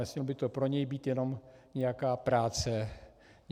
Nesměla by to pro něj být jenom nějaká práce navíc.